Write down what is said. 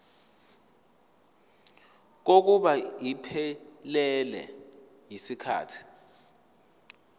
kokuba iphelele yisikhathi